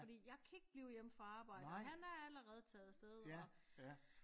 Fordi jeg kan ikke blive hjemme fra arbejdet og han er allerede taget afsted og